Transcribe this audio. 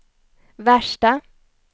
värsta